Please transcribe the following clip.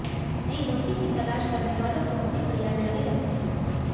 नई नौकरी की तलाश करने वालों को अपने प्रयास जारी रखने चाहिए